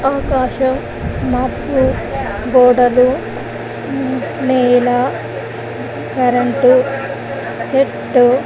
ఆకాశం మబ్బు గోడలు నేల కరెంటు చెట్టు --